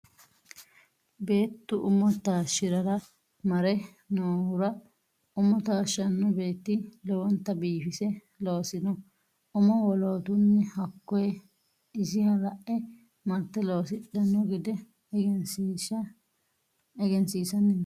Beettu umo taashshirara mare noohura umo taashshano beetti lowonta biifise loosino umo wolootuno hakkoye isiha la'e marte loosidhano gede egensiisanni no.